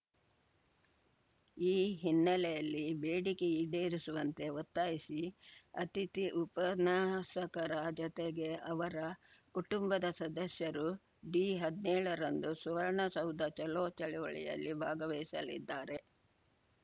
ಈ ಹಿನ್ನೆಲೆಯಲ್ಲಿ ಬೇಡಿಕೆ ಈಡೇರಿಸುವಂತೆ ಒತ್ತಾಯಿಸಿ ಅತಿಥಿ ಉಪನ್ಯಾಸಕರ ಜೊತೆಗೆ ಅವರ ಕುಟುಂಬದ ಸದಸ್ಯರು ಡಿಹದ್ನೇಳ ರಂದು ಸುವರ್ಣ ಸೌಧ ಚಲೋ ಚಳುವಳಿಯಲ್ಲಿ ಭಾಗವಹಿಸಲಿದ್ದಾರೆ